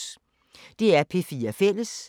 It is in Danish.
DR P4 Fælles